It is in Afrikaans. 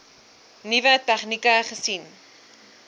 nuwe tegnieke gesien